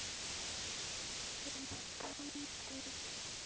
Þinn Andri Þór.